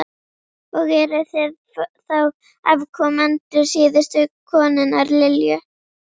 Og eruð þið þá afkomendur síðustu konunnar, Lilju?